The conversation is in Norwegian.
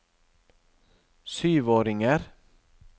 syvåringer